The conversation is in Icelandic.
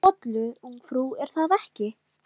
Þú vilt bollu, ungfrú, er það ekki?